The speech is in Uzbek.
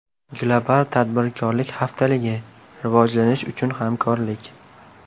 Global Tadbirkorlik Haftaligi – Rivojlanish uchun Hamkorlik!